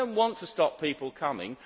we do not want to stop people coming.